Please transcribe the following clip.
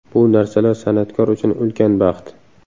Bu narsalar san’atkor uchun ulkan baxt.